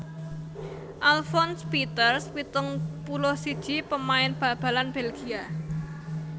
Alfons Peeters pitung puluh siji pamain bal balan Bèlgia